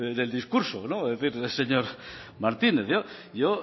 en el discurso señor martínez yo